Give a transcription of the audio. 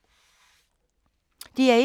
DR1